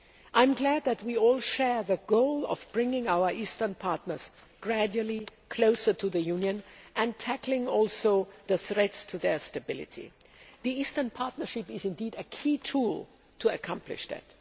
I am glad that we all share the goal of bringing our eastern partners gradually closer to the Union and also tackling the threats to their stability. The Eastern Partnership is a key tool to accomplish that.